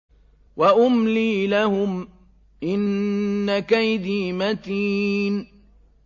وَأُمْلِي لَهُمْ ۚ إِنَّ كَيْدِي مَتِينٌ